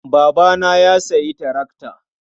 Babana ya sayi tarakta.